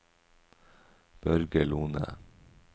Børge Lohne